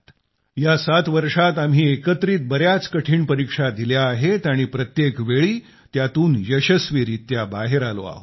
या 7 वर्षात आम्ही एकत्रित बर्याच कठीण परीक्षा दिल्या आहेत आणि प्रत्येक वेळी त्यातून यशस्वीरीत्या बाहेर आलो आहोत